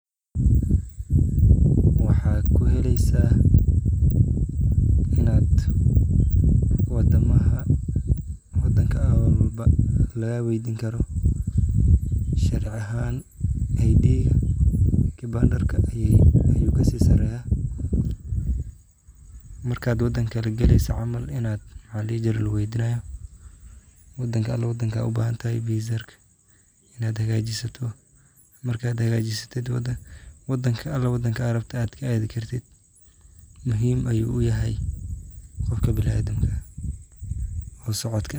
Waxa kuheleysa in ad wadan walbo lagaweydini karo sharci ahaa kibandarka ayu kasisareya marka wadan kale galeyso aya luguweydinaya oo wadanka rabto ad hagajsid fisaha marka hagajisid meesha rabto aya adhi karta.